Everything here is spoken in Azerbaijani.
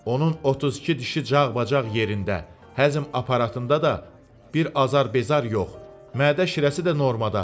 Onun 32 dişi cağbaçağ yerində, həzm aparatında da bir azar-bezar yox, mədə şirəsi də normada.